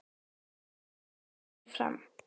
Og hann kemur oft fram.